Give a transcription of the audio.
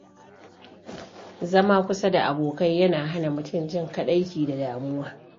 Zama kusa da abokai yana hana mutum jin kaɗaici da damuwa.